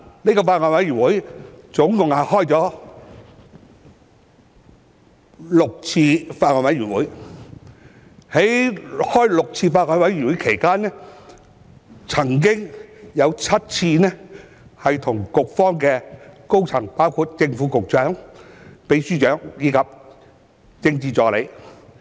這個法案委員會共召開了6次會議，在該6次會議期間，我們曾經7次跟局方高層溝通，包括正/副局長、秘書長及政治助理。